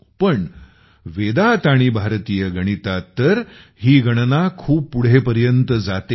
पण वेदात आणि भारतीय गणितात तर ही गणना खूप पुढेपर्यंत जाते